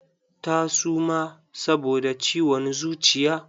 Ta suma saboda ciwon zuciya.